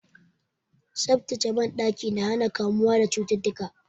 Tsaftataccen banɗaki na hana kamuwa da cututtuka.